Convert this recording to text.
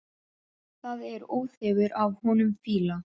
Það er óþefur af honum fýla!